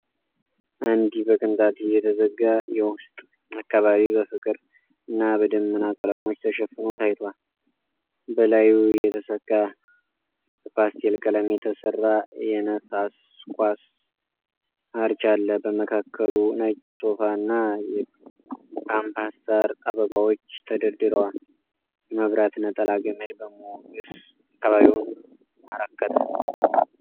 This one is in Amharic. አንድ በቅንጣት የተዘጋ የውስጥ አካባቢ በፍቅር እና በደመና ቀለሞች ተሸፍኖ ታይቷል። በላዩ የተሰካ በፓስቴል ቀለም የተሠራ የነፋስ ኳስ አርች አለ፣ በመካከሉ ነጭ ሶፋ እና የፓምፓስ ሣር አበባዎች ተደርተዋል። የመብራት ነጠላ ገመድ በሞገስ አካባቢውን አረከተ።